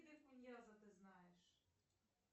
ты знаешь